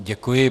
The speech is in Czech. Děkuji.